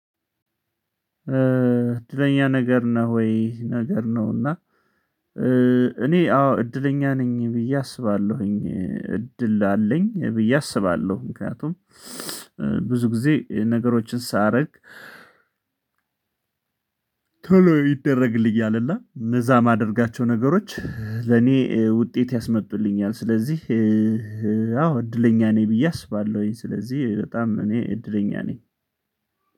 እድለኛ ነገር ነህ ወይ ነገር ነው? እና እኔ አዎ እድለኛ ነኝ ብዬ አስባለሁኝ እድል አለኝ ብዬ አስባለሁ። ምክንያቱም ብዙ ጊዜ ነገሮችን ሳረግ ቶሎ ይደረግልኝ እና እነዛ ማደርጋቸው ነገሮች ለኔ ውጤት ያስመጡልኛል። ስለዚህ አዎ እድለኛ ነኝ ብዬ አስባለሁኝ። ስለዚህ በጣም እኔ እድለኛ ነኝ።